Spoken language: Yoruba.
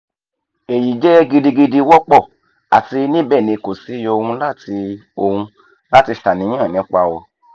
eyi jẹ gidigidi wọpọ ati nibẹ ni ko si ohun lati ohun lati ṣàníyàn nipa o